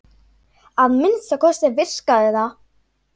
Að minnsta kosti virkaði það.